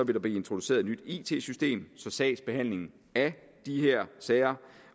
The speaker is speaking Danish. vil blive introduceret et nyt it system så sagsbehandling af de her sager